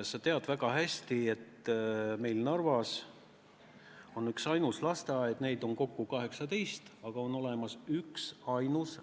Sa tead väga hästi, et meil Narvas on kokku 18 lasteaeda, aga on vaid üksainus,